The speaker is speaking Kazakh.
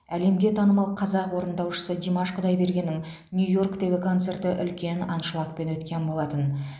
әлемге танымал қазақ орындаушысы димаш құдайбергеннің нью йорктегі концерті үлкен аншлагпен өткен болатын